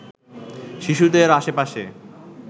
শিশুদের আশেপাশে